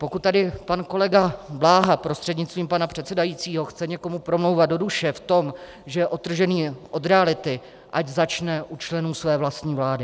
Pokud tady pan kolega Bláha prostřednictvím pana předsedajícího chce někomu promlouvat do duše v tom, že je odtržený od reality, ať začne u členů své vlastní vlády.